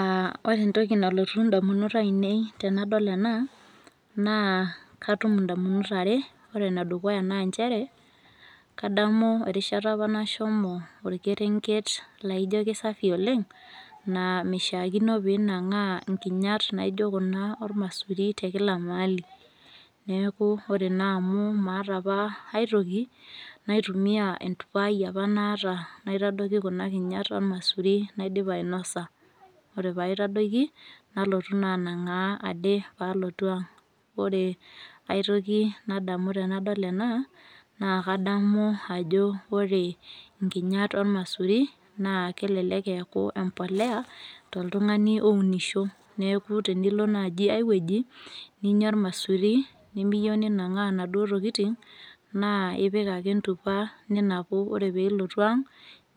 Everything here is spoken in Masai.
Ah ore entoki nalotu indamunot ainei tenadol ena, naa katum indamunot are. Ore enedukuya naa njere, kadamu erishata apa nashomo orkerenket laijo kisafi oleng, naa mishaakino pinang'aa nkinyat naijo kuna ormaisuri tekila maali. Neeku ore naa amu maata apa aitoki, naitumia entupa ai apa naata naitadoki kuna kinyat ormaisuri naidipa ainosa. Ore paitadoki, nalotu naa anang'aa ade palotu ang'. Ore aitoki nadamu tenadol ena, naa kadamu ajo ore nkinyat ormaisuri, naa kelelek eeku empolea, toltung'ani ounisho. Neeku tenilo naji ai weuji, ninya ormaisuri, nimiyieu ninang'aa naduo tokiting, naa ipik ake entupa ninapu ore pilotu ang,